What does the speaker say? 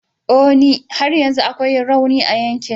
O e! har yanzu akwai rauni a yankin.